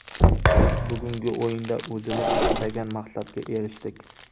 Biz bugungi o‘yinda o‘zimiz istagan maqsadga erishdik.